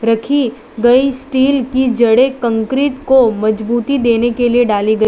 रखी गई स्टील की जड़े कंक्रीट को मजबूती देने के लिए डाली ग --